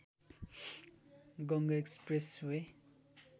Ganga Express way